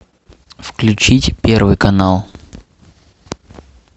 включить первый канал